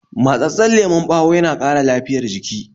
Matsatsen lemon ɓawo yana ƙara lafiyar jiki